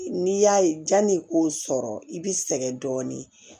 N'i y'a ye janni k'o sɔrɔ i bi sɛgɛn dɔɔnin